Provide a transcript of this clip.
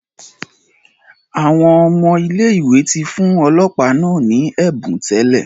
Awọn ọmọ ile-iwe ti fun ọlọpa naa ni ẹbun tẹlẹ